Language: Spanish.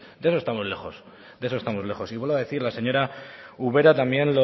de eso estamos lejos de eso estamos lejos y vuelvo a decir la señora ubera también